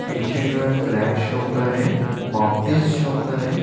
पीछे जो है फ्लैग शो कर रहे है। माउंटेन शो कर रहे है।